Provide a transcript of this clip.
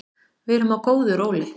Við erum á góðu róli